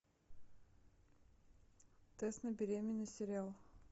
тест на беременность сериал